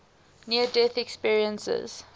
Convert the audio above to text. near death experiences